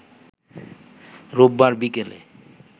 রোববার বিকেলে